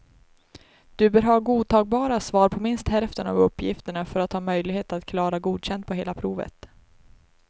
Du bör ha godtagbara svar på minst hälften av uppgifterna för att ha möjlighet att klara godkänd på hela provet.